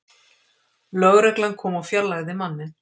Lögregla kom og fjarlægði manninn